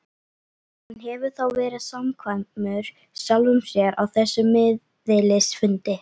Hann hefur þá verið samkvæmur sjálfum sér á þessum miðilsfundi.